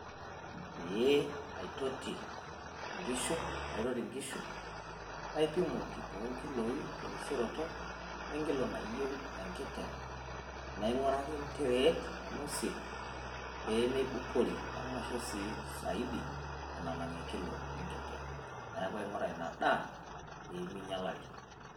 Pee aitoti nkishu, aitoti nkishu naipimoki too nkiloi terisioroto e nkilo nayieu enkiteng. Naing`uraki entereet nainosie pee meibukori amu maisho sii zaidi enalang enkilo enkiteng. Niaku aing`ura ina daa pee minyialari.